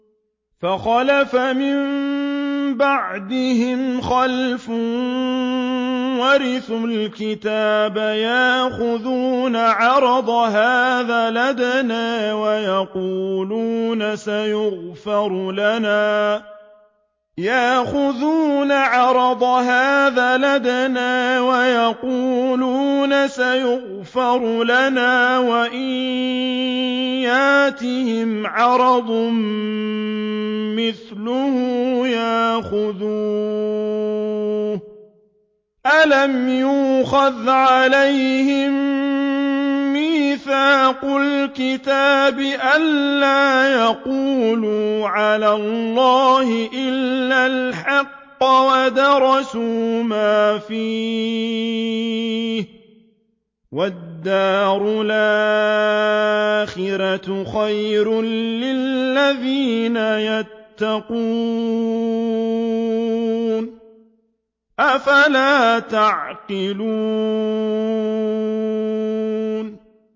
فَخَلَفَ مِن بَعْدِهِمْ خَلْفٌ وَرِثُوا الْكِتَابَ يَأْخُذُونَ عَرَضَ هَٰذَا الْأَدْنَىٰ وَيَقُولُونَ سَيُغْفَرُ لَنَا وَإِن يَأْتِهِمْ عَرَضٌ مِّثْلُهُ يَأْخُذُوهُ ۚ أَلَمْ يُؤْخَذْ عَلَيْهِم مِّيثَاقُ الْكِتَابِ أَن لَّا يَقُولُوا عَلَى اللَّهِ إِلَّا الْحَقَّ وَدَرَسُوا مَا فِيهِ ۗ وَالدَّارُ الْآخِرَةُ خَيْرٌ لِّلَّذِينَ يَتَّقُونَ ۗ أَفَلَا تَعْقِلُونَ